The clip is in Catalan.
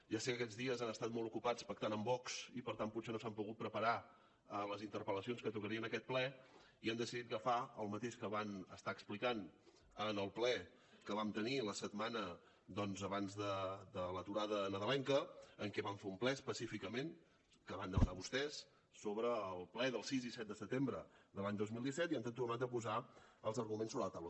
ja sé que aquests dies han estat molt ocupats pactant amb vox i per tant potser no s’han pogut preparar les interpel·lacions que tocarien en aquest ple i han decidit agafar el mateix que van estar explicant en el ple que vam tenir la setmana doncs abans de l’aturada nadalenca en què vam fer un ple específicament que van demanar vostès sobre el ple del sis i set de setembre de l’any dos mil disset i ens han tornat a posar els arguments sobre la taula